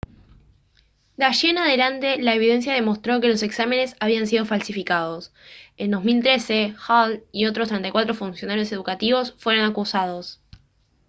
de allí en adelante la evidencia demostró que los exámenes habían sido falsificados en 2013 hall y otros 34 funcionarios educativos fueron acusados